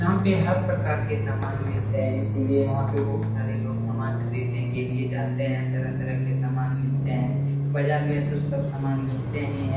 यहाँ पे हर प्रकार के सामान मिलते हैं इसलिए यहाँ पे बहुत सारे लोग सामान खरीदने के लिए जाते हैं तरह-तरह के सामान मिलते हैं बाजार में तो सब सामान मिलते ही हैं।